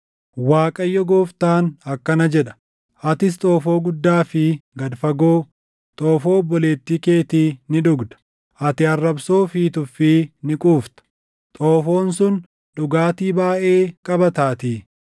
“ Waaqayyo Gooftaan akkana jedha: “Atis xoofoo guddaa fi gad fagoo, xoofoo obboleettii keetii ni dhugda; ati arrabsoo fi tuffii ni quufta; xoofoon sun dhugaatii baayʼee qabataatii.